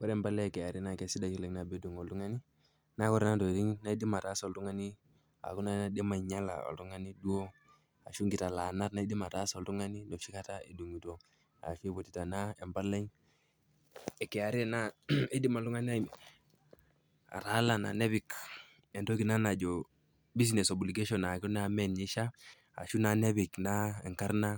Ore empalai e kra naa sidai oleng' nabo edung' oltung'ani, naa ore naa ntokitin naaidim ataasa oltung'ani aaku naa naaidim ainyala oltung'ani duo ashu nkitalaanat naaidim ataasa oltung'ani noshi kata edungito ashu eiputita naa empalai e kra naa eidim oltung'ani ataalana nepik entoki naa najo business obligation aaku naa meninye eishaa ashu naa nepik naa enkarna